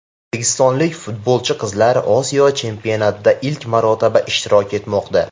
O‘zbekistonlik futbolchi qizlar Osiyo chempionatida ilk marotaba ishtirok etmoqda.